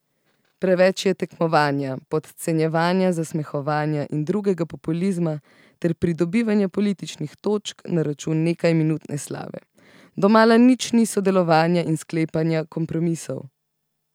Preveč je tekmovanja, podcenjevanja, zasmehovanja in drugega populizma ter pridobivanja političnih točk na račun nekajminutne slave, domala nič ni sodelovanja in sklepanja kompromisov.